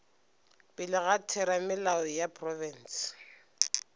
pele ga theramelao ya profense